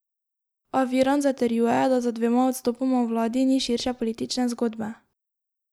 A Virant zatrjuje, da za dvema odstopoma v vladi ni širše politične zgodbe.